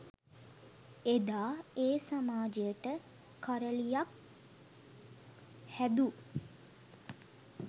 එදා ඒ සමාජයට කරළියක් හැදූ